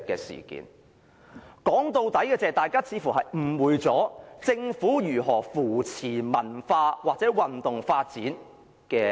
說到最終，大家似乎誤會了怎樣辨識政府有否扶持文化或運動發展。